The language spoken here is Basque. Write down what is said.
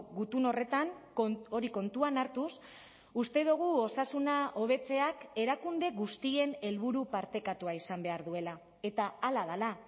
gutun horretan hori kontuan hartuz uste dugu osasuna hobetzeak erakunde guztien helburu partekatua izan behar duela eta hala dela